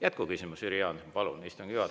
Jätkuküsimus, Jüri Jaanson, palun!